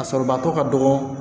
A sɔrɔbatɔ ka dɔgɔ